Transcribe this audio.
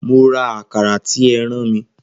Mo ra Àkàrà tí ẹ rán mi